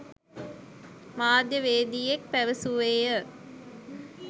මාධ්‍යවේදියෙක් පැවසුවේය.